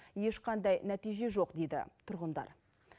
ешқандай нәтиже жоқ дейді тұрғындар